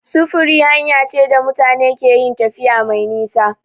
Sufuri hanya ce da mutane keyin tafiya mai nisa